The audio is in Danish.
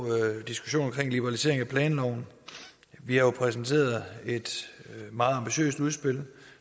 diskussionen om en liberalisering af planloven vi har jo præsenteret et meget ambitiøst udspil